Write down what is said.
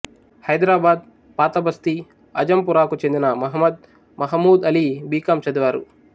హైదరాబాద్ పాతబస్తీ ఆజంపురాకు చెందిన మహ్మద్ మహమూద్ అలీ బి కాం చదివారు